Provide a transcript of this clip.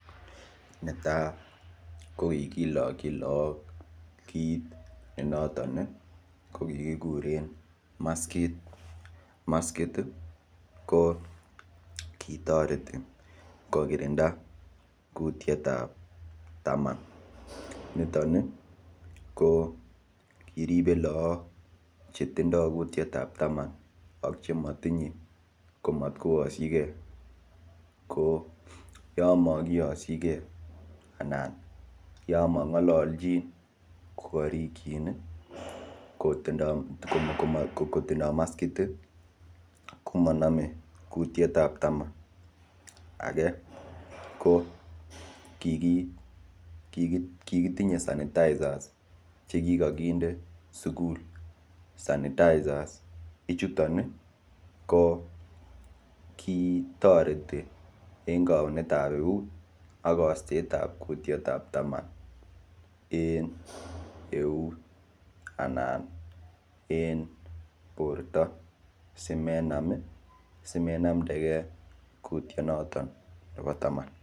Netai ko kigilokin lagok kiit noton ne kigikuren maskit, maskit ko kitoreti kogirinda kutiet ab taman ak sogol, niton ko kiripe loagok chetindo kutiet ab taman ak sogol ak chematinye komatkoyoshige ko yon mokiyoshi ge anan yon mong'ololchin kogarikin kotindo maskit ko monome kutiet ab taman ak sogol age ko kigitinye sanitizers che kigo kinde sugul. Sanitizers ichuton ko kitoreti en kaunet ab eut ak kosteet ab kutiet ab taman ak sogol en eut anan en borto simenamdege kuitie noton nebo taman ak sogol.